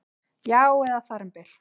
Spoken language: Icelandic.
Já, eða þar um bil